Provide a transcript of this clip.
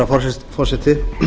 herra forseti